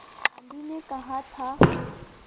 गांधी ने कहा था